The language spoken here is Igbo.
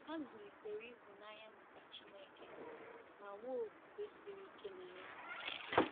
Ha zụlitere ịhụnanya maka Chineke ma nwee okwukwe siri ike na ya.